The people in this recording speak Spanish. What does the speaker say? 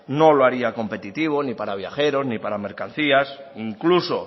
no lo haría competitivo ni para viajeros ni para mercancías incluso